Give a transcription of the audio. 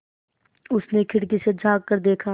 उसने खिड़की से झाँक कर देखा